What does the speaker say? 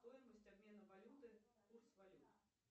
стоимость обмена валюты курс валют